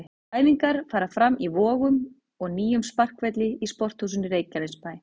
Æfingar fara fram í Vogum og nýjum sparkvelli í Sporthúsinu Reykjanesbæ.